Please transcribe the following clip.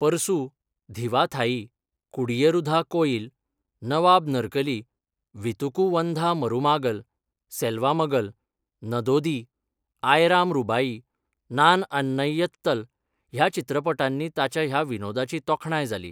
परसू, धीवा थाई, कुडीयरुधा कोयिल, नवाब नरकली, वीतुकू वंधा मरुमागल, सेल्वा मगल, नदोदी, आयराम रूबाई, नान अन्नैयत्तल ह्या चित्रपटांनी ताच्या ह्या विनोदाची तोखणाय जाली.